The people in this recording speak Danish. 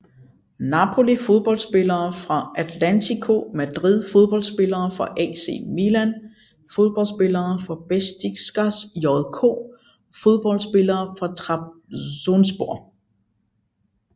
Napoli Fodboldspillere fra Atlético Madrid Fodboldspillere fra AC Milan Fodboldspillere fra Beşiktaş JK Fodboldspillere fra Trabzonspor